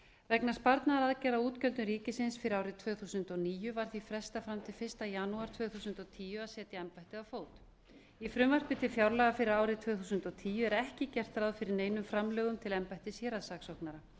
vegna sparnaðaraðgerða á útgjöldum ríkisins fyrir árið tvö þúsund og níu var því frestað fram til fyrsta janúar tvö þúsund og tíu að setja embættið á fót í frumvarpi til fjárlaga fyrir árið tvö þúsund og tíu er ekki gert ráð fyrir neinum framlögum til embættis héraðssaksóknara